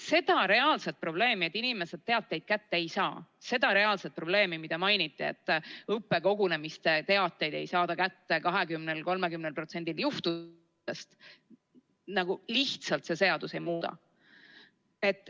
Seda reaalset probleemi, et inimesed teateid kätte ei saa, seda reaalset probleemi, mida mainiti, et õppekogunemiste teateid ei saada kätte 20–30%‑l juhtudest, see seadus lihtsalt ei muuda.